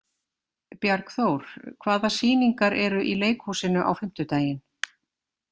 Bjargþór, hvaða sýningar eru í leikhúsinu á fimmtudaginn?